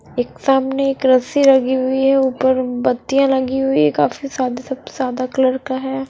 एक सामने एक रस्सी रखी हुई है उपर बतिया लगी हुई है काफी सादे सब सादा कलर का है।